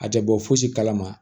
A tɛ bɔ fosi kalama